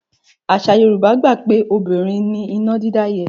Àṣà Yorùbá gbà pé obìnrin ni iná dídá yẹ́.